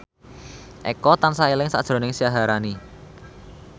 Eko tansah eling sakjroning Syaharani